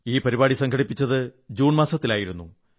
ഈ പരിപാടി സംഘടിപ്പിച്ചത് ജൂൺ മാസത്തിലായിരുന്നു